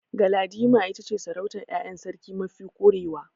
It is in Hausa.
Galadima ita ce sarautar ƴaƴan sarki mafi ƙurewa.